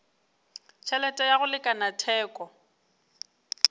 tšhelete ya go lekana theko